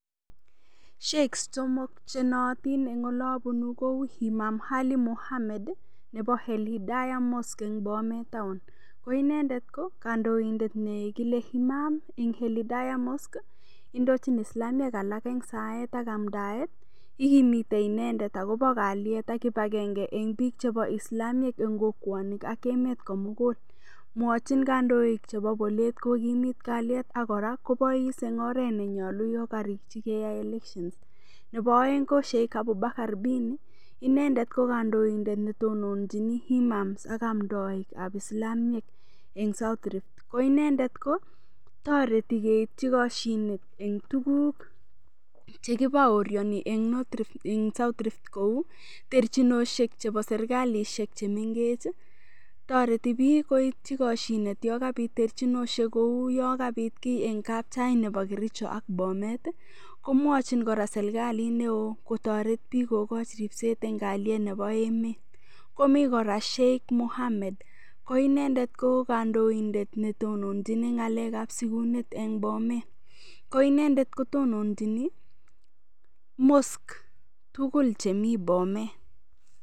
Sheikhs somok chenoyotin eng'ole abunu kou Imam Ali Mohamed nebo Al Hidaya mosque eng' Bomet taon ko inendet ko kandoindet nekile imam eng' Al Hidaya mosque indojin islamiek alak eng' saet ak amdaet ikimitei inendet akobo kalyet ak kibagenge eng' biik chebo islamiek eng' kokwonik ak emet komugul mwochin kandoik chebo bolet kokimot kalyet akora kobois eng' oret nenyolu yo karikchi keyai election nebo oeng' ko sheikh Abunakar Bini inendet ko kandoindet netononjini imams ak omdoikab islamiek eng' nebo south rift ko inendet ko toreti keitchi koshinet eng' tukuk chekibaoriani eng' [vs]south rift kou terchinoshek chebo serikalishek chemengech toreti biik koitchi koshinet yo kabit terchinoshek kou yo kabit kii eng' kapchai nebo kericho ak bomet komwachin kora serikalit neo kotoret biik kokoch ripset eng' kalyet nebo emet komi kora sheikh Mohammed ko inendet ko kandoindet netonjini ng'alekab sikunet eng' bomet ko inendet kotononjini mosque tugul chemi bomet